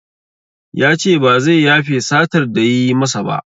Yace ba zai yafe satar da yayi masa ba